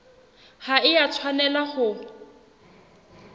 ha e a tshwanela ho